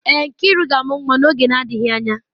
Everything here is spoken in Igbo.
Èè, Nkiru ga-amụ nwa oge na-adịghị anya.